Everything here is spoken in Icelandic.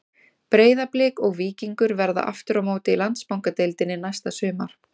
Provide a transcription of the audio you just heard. Breiðablik og Víkingur verða aftur á móti í Landsbankadeildinni næsta sumar.